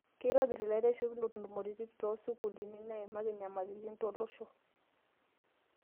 Keitobirr laiteshikinok ntumoritin too sukuulini naimaki nyamalaritin tolosho